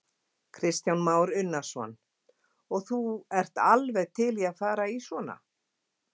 Kristján Már Unnarsson: Og þú ert alveg til í að fara í svona?